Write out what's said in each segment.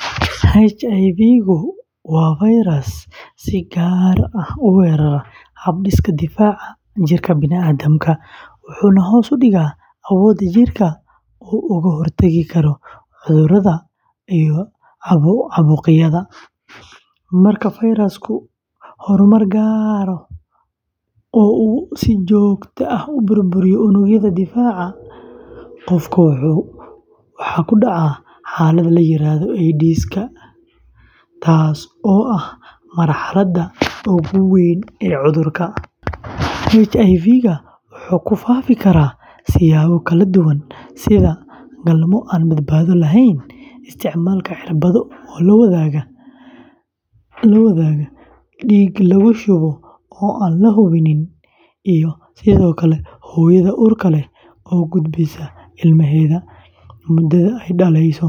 HIV-ga waa fayras si gaar ah u weerara hab-dhiska difaaca jirka bini’aadamka, wuxuuna hoos u dhigaa awoodda jirka uu uga hortagi karo cudurrada iyo caabuqyada. Marka fayrasku horumar gaaro oo uu si joogto ah u burburiyo unugyada difaaca, qofka waxaa ku dhaca xaalad la yiraahdo AIDS-ka, taas oo ah marxaladda ugu dambeysa ee cudurka. HIV-ga wuxuu ku faafi karaa siyaabo kala duwan sida: galmo aan badbaado lahayn, isticmaalka cirbado la wadaago, dhiig lagu shubo oo aan la hubin, iyo sidoo kale hooyada uurka leh oo u gudbisa ilmaheeda muddada uurka,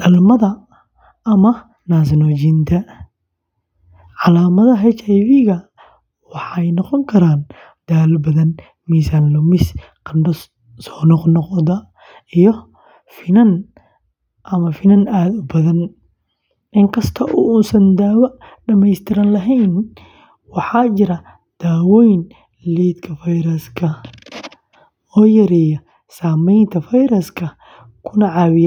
dhalmada ama naas-nuujinta. Calaamadaha HIV-ga waxay noqon karaan daal badan, miisaan lumis, qandho soo noqnoqda iyo finan ama finan aad u badan. Inkasta oo uusan daawo dhammaystiran lahayn, waxaa jira daawooyin lidka fayraska oo yareeya saamaynta fayraska kuna caawiya dadka.